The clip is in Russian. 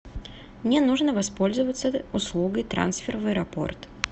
мне нужно воспользоваться услугой трансфер в аэропорт